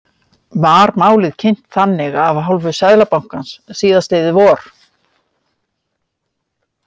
Var málið kynnt þannig af hálfu Seðlabankans síðastliðið vor?